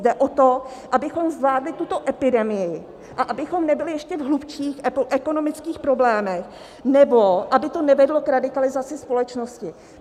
Jde o to, abychom zvládli tuto epidemii a abychom nebyli v ještě hlubších ekonomických problémech, nebo aby to nevedlo k radikalizaci společnosti.